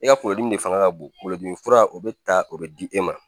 E ka kunkolodimi de fanga ka bonlodimi fura o be ta o bɛ di e ma